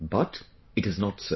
But it is not so